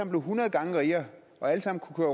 blev hundrede gange rigere og alle sammen kunne